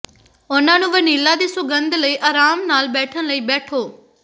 ਉਨ੍ਹਾਂ ਨੂੰ ਵਨੀਲਾ ਦੀ ਸੁਗੰਧ ਲਈ ਆਰਾਮ ਨਾਲ ਬੈਠਣ ਲਈ ਬੈਠੋ